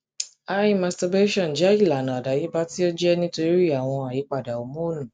hi masterbation jẹ ilana adayeba ti o jẹ nitori awọn ayipada homonu